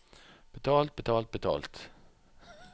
betalt betalt betalt